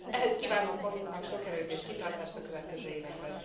Ehhez kívánok magunknak sok erőt és kitartást a következő években!